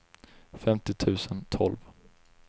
femtio tusen tolv